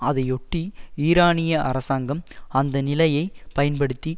அதையொட்டி ஈரானிய அரசாங்கம் அந்த நிலையை பயன்படுத்தி